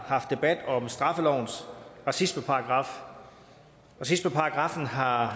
debat om straffelovens racismeparagraf racismeparagraffen har